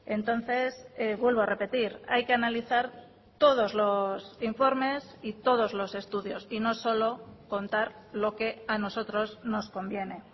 entonces vuelvo a repetir hay que analizar todos los informes y todos los estudios y no solo contar lo que a nosotros nos conviene